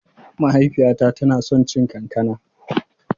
Mahaifiyata tana son cin kankana.